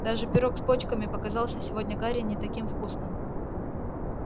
даже пирог с почками показался сегодня гарри не таким вкусным